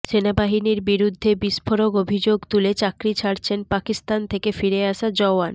সেনাবাহিনীর বিরুদ্ধে বিস্ফোরক অভিযোগ তুলে চাকরি ছাড়ছেন পাকিস্তান থেকে ফিরে আসা জওয়ান